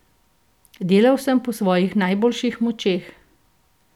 Delal sem po svojih najboljših močeh.